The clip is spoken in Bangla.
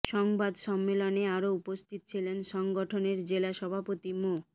সংবাদ সম্মেলনে আরো উপস্থিত ছিলেন সংগঠনের জেলা সভাপতি মো